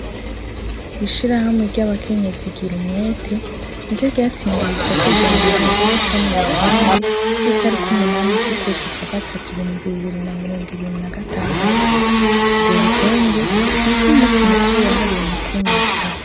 Ishirahamwe ryabakenyezi girumwete niryo ryatsindiye isoko rya reta ryo gushona ibitenge vyitariki umunani ryukwezi kwagatatu mubihumbi bibi na mirongo itandatu ibitenge nivyumusi mukuru wahariye abakenyezi